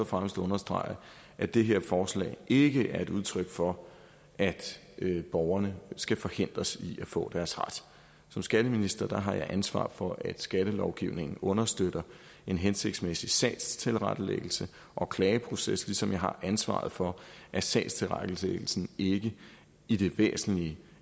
fremmest at understrege at det her forslag ikke er et udtryk for at borgerne skal forhindres i at få deres ret som skatteminister har jeg ansvar for at skattelovgivningen understøtter en hensigtsmæssig sagstilrettelæggelse og klageproces ligesom jeg har ansvaret for at sagstilrettelæggelsen ikke i det væsentlige